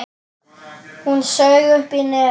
Hún saug upp í nefið.